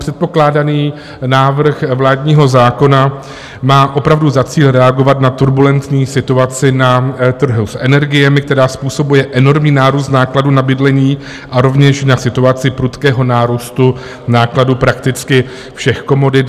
Předkládaný návrh vládního zákona má opravdu za cíl reagovat na turbulentní situaci na trhu s energiemi, která způsobuje enormní nárůst nákladů na bydlení, a rovněž na situaci prudkého nárůstu nákladů prakticky všech komodit.